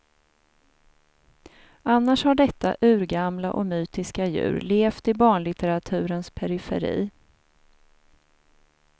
Annars har detta urgamla och mytiska djur levt i barnlitteraturens periferi.